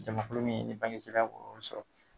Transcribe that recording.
Jamakulu min ni bange gɛlɛyaya bɛ ka olu sɔrɔ